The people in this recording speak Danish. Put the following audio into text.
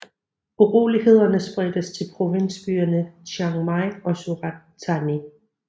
Urolighederne spredtes til provinsbyerne Chiang Mai og Surat Thani